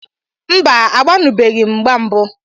Mba, agbanubeghi m mgba mbụ